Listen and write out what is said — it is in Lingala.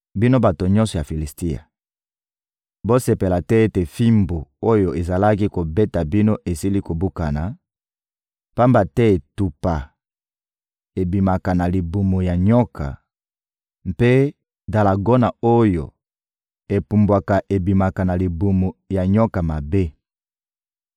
«Bino bato nyonso ya Filisitia, bosepela te ete fimbu oyo ezalaki kobeta bino esili kobukana, pamba te etupa ebimaka na libumu ya nyoka, mpe dalagona oyo epumbwaka ebimaka na libumu ya nyoka mabe.